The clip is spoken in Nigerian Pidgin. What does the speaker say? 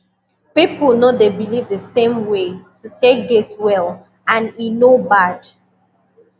people no dey believe the same way to take get well and e no bad